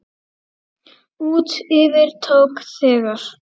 Út yfir tók þegar